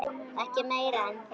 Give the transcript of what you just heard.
Ekki meira en það.